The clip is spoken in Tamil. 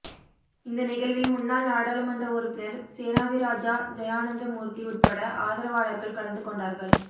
இந்த நிகழ்வில் முன்னாள் நாடாளுமன்ற உறுப்பினர் சேனாதிராஜா ஜெயானந்தமூர்த்தி உட்பட ஆதரவாளர்கள் கலந்து கொண்டார்கள்